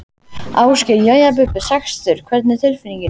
Ásgeir: Jæja Bubbi, sextugur hvernig er tilfinningin?